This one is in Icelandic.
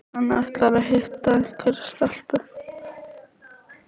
Hann ætlar að hitta einhverja stelpu